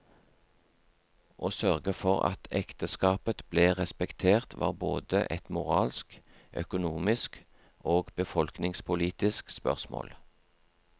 Å sørge for at ekteskapet ble respektert var både et moralsk, økonomisk og befolkningspolitisk spørsmål.